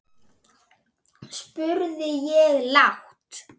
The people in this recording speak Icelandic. spurði ég lágt.